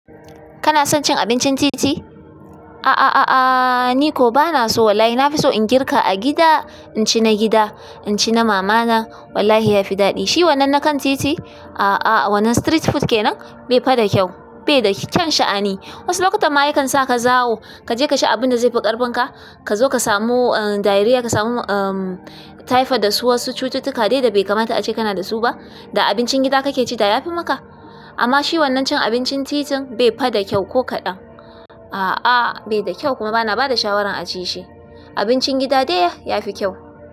Kana son cin abincin titi? A a a a ni ko bana so wallahi. Na fi so in girka a gida, inci na gida, inci na mama na wallahi ya fi daɗi. Shi wannan na kan titi, a a wannan street food kenan bai fa da kyau, bai da kyan sha'ani. Wasu lokutan ma yakan sa ka zawo, ka je ka ci abin da zai fi ƙarfin ka. Ka zo ka samu um diarrhea, ka samu um typhoid da su wasu cututtuka dai da bai kamata ace kana da su ba. Da abincin gida kake ci da ya fi maka. Amma shi wannan cin abincin titin bai fa da kyau ko kaɗan. A a bai da kyau kuma bana ba da shawarar a ci shi. Abincin gida dai ya fi kyau.